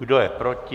Kdo je proti?